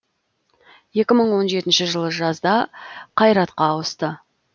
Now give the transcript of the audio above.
екі мың он жетінші жылы жазда қайратқа ауысты